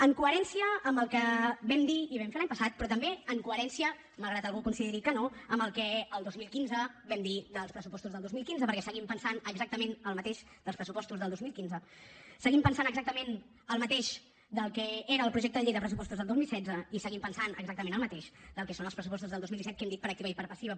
en coherència amb el que vam dir i vam fer l’any passat però també en coherència malgrat que algú consideri que no amb el que el dos mil quinze vam dir dels pressupostos del dos mil quinze perquè seguim pensant exactament el mateix dels pressupostos del dos mil quinze seguim pensant exactament el mateix del que era el projecte de llei de pressupostos del dos mil setze i seguim pensant exactament el mateix del que són els pressupostos del dos mil disset que ho hem dit per activa i per passiva